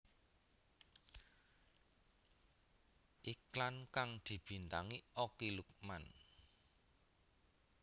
Iklan kang dibintangi Okky Lukman